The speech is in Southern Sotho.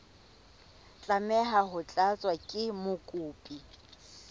tlameha ho tlatswa ke mokopi